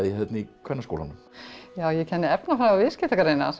hérna í Kvennaskólanum já ég kenni efnafræði og